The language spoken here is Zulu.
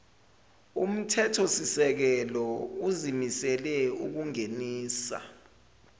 umthethosisekelo uzimisele ukungenisa